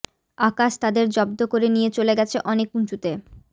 আকাশ তাদের জব্দ করে নিয়ে চলে গেছে অনেক উঁচুতে